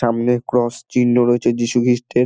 সামনে ক্রস চিহ্ন রয়েছে যীশু খ্রিস্টের।